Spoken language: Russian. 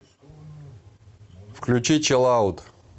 включи чилаут